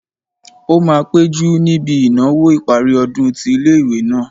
Ó máa péjú níbi ìnáwó ìparí ọdún tí ilé-ìwé náà